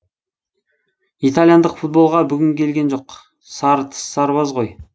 итальяндық футболға бүгін келген жоқ сары тіс сарбаз ғой